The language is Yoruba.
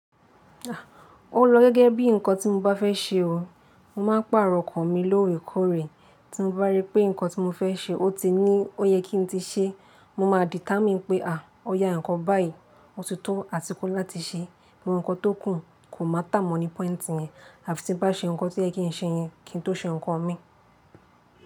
O lo gẹ́gẹ́ bí ǹkan tí mo bá fẹ́ ṣe o, mo máa pàrọ̀ kàn mi lórí korè, tí mo bá rí pé ǹkan tí mo fẹ́ ṣe o ti ní ó yẹ kí n tí ṣé, mo máa dìtá mi pé à, ọ̀ya ǹkan báyìí, ó ti tó àsìkò láti ṣe, gbogbo ǹkan tó kùn, kò máa tà mọ́ ní pọ́ìntì yẹn, àfi tí n bá ṣe ǹkan tí kò yẹ kí n ṣe yẹn, kí n tó ṣe ǹkan mi.